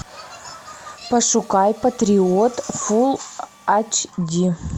пошукай патриот фул ач ди